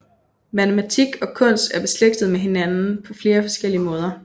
Matematik og kunst er beslægtet med hinanden på flere forskellige måder